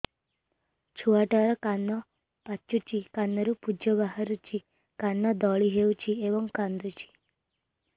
ଛୁଆ ଟା ର କାନ ପାଚୁଛି କାନରୁ ପୂଜ ବାହାରୁଛି କାନ ଦଳି ହେଉଛି ଏବଂ କାନ୍ଦୁଚି